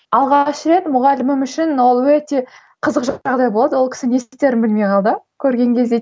алғаш рет мұғалімім үшін ол өте қызық жағдай болды ол кісі не істерін білмей қалды көрген кезде